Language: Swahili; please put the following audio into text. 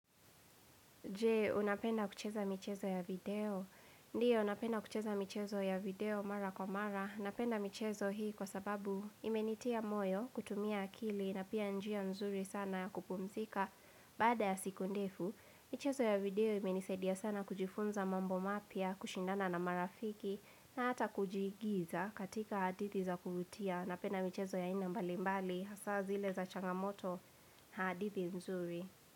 Jee, unapenda kucheza michezo ya video? Ndiyo, napenda kucheza michezo ya video mara kwa mara. Napenda michezo hii kwa sababu imenitia moyo, kutumia akili, na pia njia mzuri sana ya kupumzika. Baada ya siku ndefu, michezo ya video imenisaidia sana kujifunza mambo mapya, kushindana na marafiki, na hata kujiigiza katika hadithi za kumtia. Napenda michezo ya aina mbalimbali, hasa zile za changamoto, hadithi mzuri.